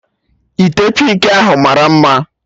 Ite pịnki ahụ mara mma